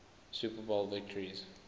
super bowl victories